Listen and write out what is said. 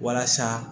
Walasa